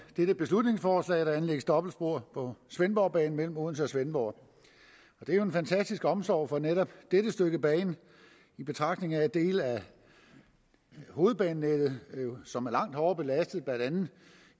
dette beslutningsforslag at der anlægges dobbeltspor på svendborgbanen mellem odense og svendborg det er jo en fantastisk omsorg for netop dette stykke bane i betragtning af at dele af hovedbanenettet som er langt hårdere belastet blandt andet